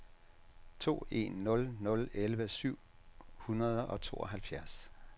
to en nul nul elleve syv hundrede og tooghalvfjerds